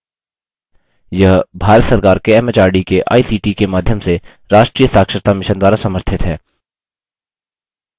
यह भारत सरकार के एमएचआरडी के आईसीटी के माध्यम से राष्ट्रीय साक्षरता mission द्वारा समर्थित है